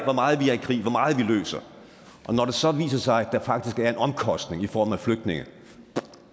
hvor meget vi løser og når det så viser sig at der faktisk er en omkostning i form af flygtninge